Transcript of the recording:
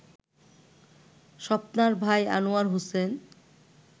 স্বপ্নার ভাই আনোয়ার হোসেন